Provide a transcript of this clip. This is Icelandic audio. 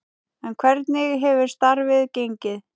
En hvernig hefur starfið gengið?